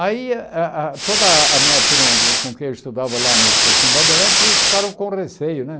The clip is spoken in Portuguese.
Aí a a toda a minha turma com quem eu estudava lá no cursinho Bandeirantes, eles ficaram com receio, né?